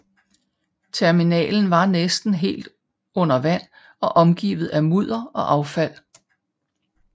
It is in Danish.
Terminalen var næsten helt under vand og omgivet af mudder og affald